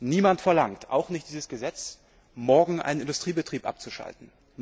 Niemand verlangt auch nicht dieses Gesetz morgen einen Industriebetrieb abzuschalten.